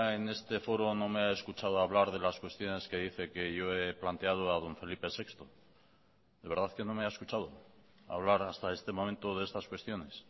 en este foro no me ha escuchado hablar de las cuestiones que dice que yo he planteado a don felipe sexto de verdad que no me ha escuchado hablar hasta este momento de estas cuestiones